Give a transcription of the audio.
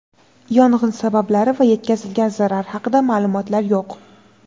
Yong‘in sabablari va yetkazilgan zarar haqida ma’lumotlar yo‘q.